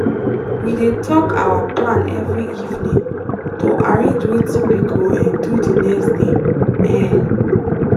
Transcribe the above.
we dey talk our plan every evening to arrange wetin we go um do the next day. um